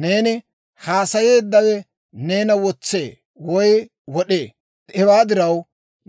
Neeni haasayeeddawe neena wotsee woy wod'ee; hewaa diraw,